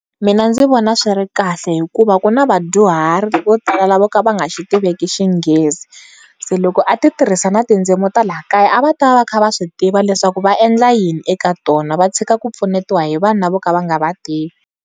Mina ndzi vona swi ri kahle hikuva ku na vadyuhari vo tala vo ka va nga xi tiveki xinghezi se loko a ti tirhisa na tindzimi ta la kaya a va ta va va kha va swi tiva leswaku va endla yini eka tona va tshika ku pfunetiwa hi vanhu lava vo ka va nga va tivi.